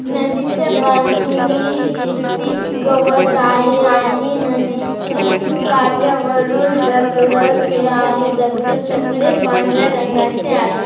नदीच्या बाजूनी हिरवी गवत आहे आणि नदीच्या काठावरून दगड ते आहेत दगड सगळे पांढर्‍या रंगाचे आहे.